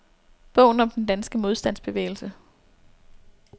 Bogen om den danske modstandsbevægelse.